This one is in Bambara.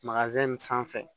sanfɛ